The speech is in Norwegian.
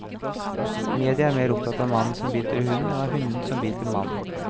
Media er mer opptatt av mannen som biter hunden, enn av hunden som biter mannen.